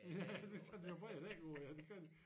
Ja så tage de nogen bredere dæk på ja det gør de